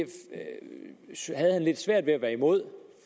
havde han lidt svært ved at være imod